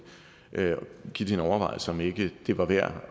give det en overvejelse om ikke det var værd